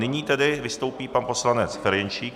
Nyní tedy vystoupí pan poslanec Ferjenčík.